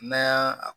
N'an y'a